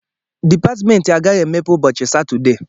Dịpatmentị agaghị emepe ụbọchị Satọdee